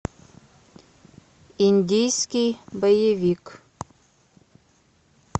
индийский боевик